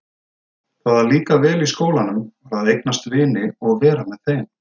Það að líka vel í skólanum var að eignast vini og vera með þeim.